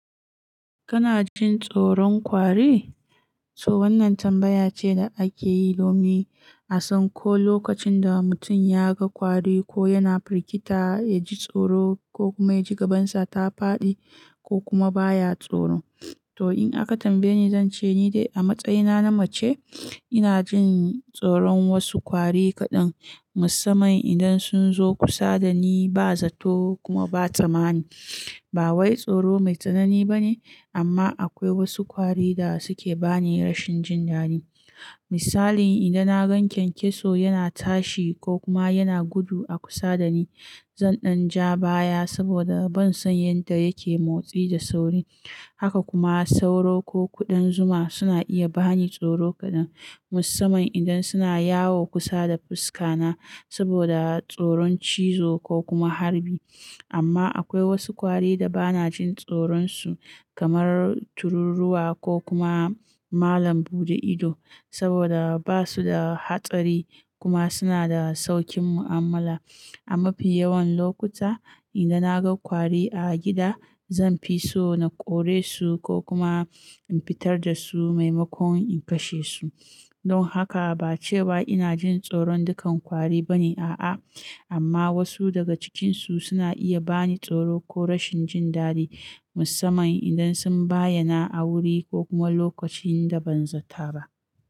Kana jin tsoron ƙwari? To wannan tambaya ce da ake yi domin a san ko lokacin da mutum ya ga kwari ko yana firgita ya ji tsoro ko kuma ya ji gabansa ta faɗi ko kuma baya tsoro. To in aka tambaye ni, zan ce ni dai a matsayina na mace ina jin tsoron wasu kwari kaɗan musamman idan sun zo kusa da ni ba zato kuma ba tsammani. Ba wai tsoro mai tsanani ba ne amma akwai wasu ƙwari da suke bani rashin jin dadi. Misali idan na gan kyankyaso yana tashi ko kuma yana gudu a kusa da ni zan ɗan ja baya saboda ban san yadda yake motsi da sauri. Haka kuma sauro ko kuɗin zuma suna iya bani tsoro kaɗan musamman idan suna yawo kusa da fuska na saboda tsoron cizo ko kuma harbi. Amma akwai wasu kwari da ba na jin tsoron su kamar tururruwa ko kuma malam buɗe ido saboda ba su da hatsari kuma suna da saukin mu'amala. A mafi yawan lokuta idan na ga kwari a gida zan fi so na kore su ko kuma in fitar da su maimakon in kashe su. Don haka ba cewa ina jin tsoron dukan kwari ba ne a'a amma wasu daga cikinsu suna iya bani tsoro ko rashin jin dadi musamman idan sun bayyana a wuri ko kuma lokacin da ban zata ba.